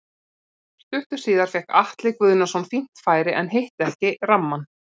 Stuttu síðar fékk Atli Guðnason fínt færi en hitti ekki rammann.